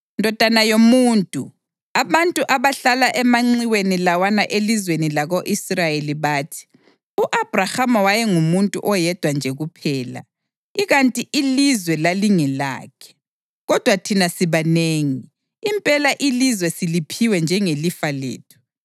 “Ndodana yomuntu, abantu abahlala emanxiweni lawana elizweni lako-Israyeli bathi, ‘U-Abhrahama wayengumuntu oyedwa nje kuphela, ikanti ilizwe lalingelakhe. Kodwa thina sibanengi; impela ilizwe siliphiwe njengelifa lethu.’